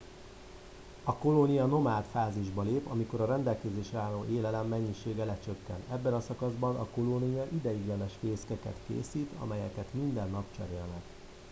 a kolónia nomád fázisba lép amikor a rendelkezésre álló élelem mennyisége lecsökken ebben a szakaszban a kolónia ideiglenes fészkeket készít amelyeket minden nap cserélnek